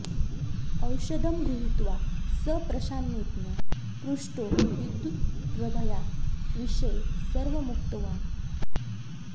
औषधं गृहीत्वा स प्रशान्तेन पृष्टो विद्युत्प्रभाया विषये सर्वमुक्तवान्